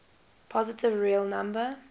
positive real number